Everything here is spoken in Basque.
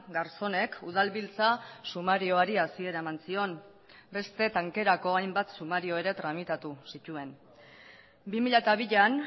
garzonek udalbiltza sumarioari hasiera eman zion beste tankerako hainbat sumario ere tramitatu zituen bi mila bian